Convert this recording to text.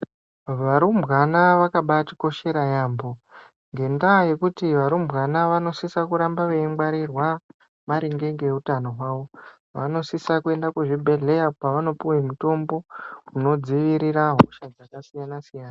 Varumbwana vakabaatikoshera yaambo ngendaa yekuti varumbwana vanosisa kuramba veingwarirwa maringe ngeutano hwavo vanosisa kuenda kuzvibhedhlera kwavanondopuwe mutombo unodzivirira hosha dzakasiyana siyana.